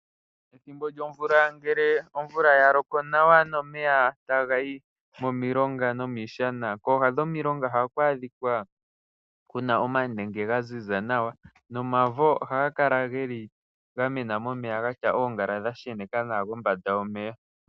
Pethimbo lyomvula ngele omvula ya loko nawa nomeya taga yi momilonga nomiishana, kooha dhomilonga ohaku adhika ku na omanenge ga ziza nawa nomavo ohaga kala ga mena momeya ga tya oongala dha sheneka nawa kombanda yomeya.